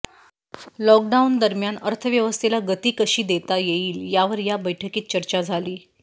lockdown दरम्यान अर्थव्यवस्थेला गती कशी देता येईल यावर या बैठकीत चर्चा झाली